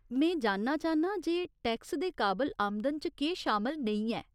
में जानना चाह्न्नां जे टैक्स दे काबल आमदन च केह् शामल नेईं ऐ।